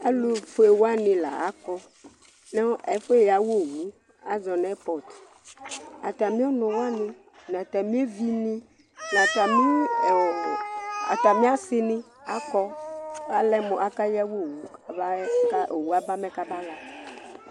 Alufʋewani la akɔ ŋu ɛƒu ɣawa owu asɔ ŋu airport Atami ɔnu waŋi ŋu atami evi ni ŋu atami asini akɔ Ɔlɛmu akaɣawa owu mɛ owu aba mɛ kabaɣa